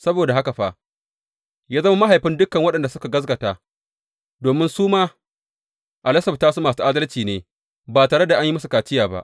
Saboda haka fa, ya zama mahaifin dukan waɗanda suka gaskata domin su ma a lasafta su masu adalci ne, ba tare da an yi musu kaciya ba.